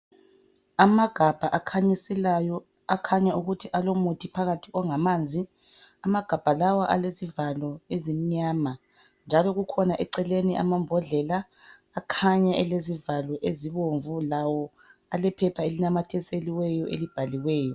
Amagabha akhanyiselayo akhanya ukuthi alomuthi phakathi ongamanzi, amagabha lawa alezivalo ezimnyama njalo kukhona eceleni amambodlela akhanya elezivalo ezibomvu lawo alephepha elinamathiselweyo elibhaliweyo.